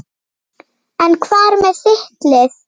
En hvað með þitt lið?